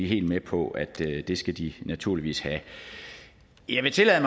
helt med på at det skal de naturligvis have jeg vil tillade